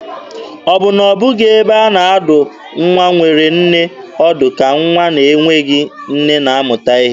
Ọ bụ na ọ bụghị ebe a na-adụ nwa nwere nne ọdụ ka nwa na-enweghị nne na-amụta ihe?